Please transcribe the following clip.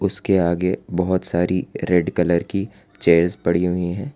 उसके आगे बहोत सारी रेड कलर की चेयर पड़ी हुई है।